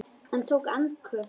Hann tók andköf.